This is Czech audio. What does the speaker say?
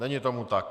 Není tomu tak.